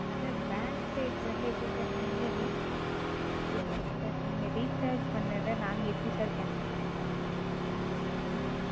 Sir bank side ல இருந்து எப்படி Sir நீங்க நீங்க Sir நீங்க Rechange பண்ணதை நாங்க எப்படி Sir cancel பண்ண,